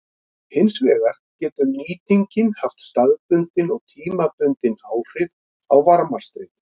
Hins vegar getur nýtingin haft staðbundin og tímabundin áhrif á varmastreymið.